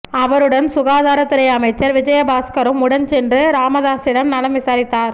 அவருடன் சுகாதாரத்துறை அமைச்சர் விஜயபாஸ்கரும் உடன் சென்று ராமதாஸிடம் நலம் விசாரித்தார்